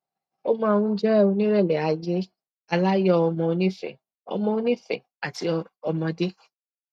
ó máa ń jẹ onírẹlẹ ayé aláyọ ọmọ onífẹẹ ọmọ onífẹẹ àti ọmọdé